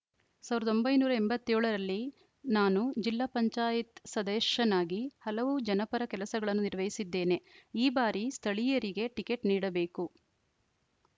ಸಾವಿರದ ಒಂಬೈನೂರ ಎಂಬತ್ತ್ ಏಳ ರಲ್ಲಿ ನಾನು ಜಿಪಂ ಸದಸ್ಯನಾಗಿ ಹಲವು ಜನಪರ ಕೆಲಸಗಳನ್ನು ನಿರ್ವಹಿಸಿದ್ದೇನೆ ಈ ಬಾರಿ ಸ್ಥಳೀಯರಿಗೆ ಟಿಕೆಟ್‌ ನೀಡಬೇಕು